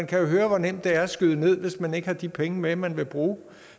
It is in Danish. kan høre hvor nemt det er at skyde ned hvis man ikke har de penge med man vil bruge